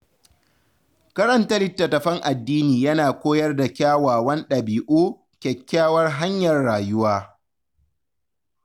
Karanta littattafan addini yana koyar da kyawawan ɗabi’u kyakkyawar hanyar rayuwa.